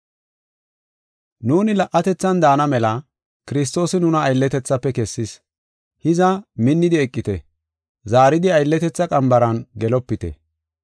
Nuuni la77atethan daana mela Kiristoosi nuna aylletethaafe kessis. Hiza, minnidi eqite; zaaridi aylletetha qambaran gelopite.